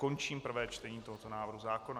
Končím prvé čtení tohoto návrhu zákona.